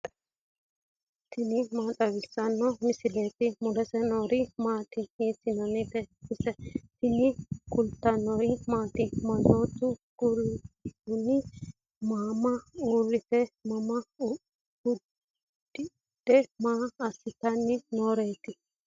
tini maa xawissanno misileeti ? mulese noori maati ? hiissinannite ise ? tini kultannori maati? Manoottu kunni mama uuritte maa udidhe maa asittanni nooreetti?